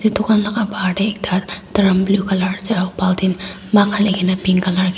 edu khan laka bahar tae ekta drum blue colour aro bultin mug halikae na pink colour --